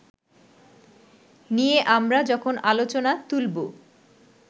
নিয়ে আমরা যখন আলোচনা তুলবো